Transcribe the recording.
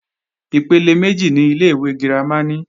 Ipele méjì ni ilé-ìwé girama ní.